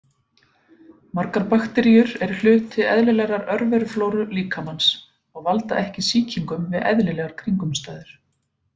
Margar bakteríur eru hluti eðlilegrar örveruflóru líkamans og valda ekki sýkingum við eðlilegar kringumstæður.